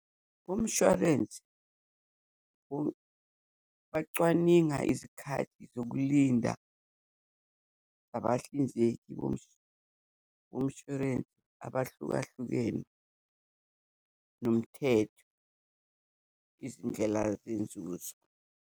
Bomshwarensi bacwaninga izikhathi zokulinda zabahlinzeki bomshwarensi abahlukahlukene, nomthetho izindlela zenza ukuthi.